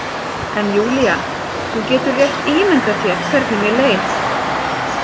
En Júlía, þú getur rétt ímyndað þér hvernig mér leið.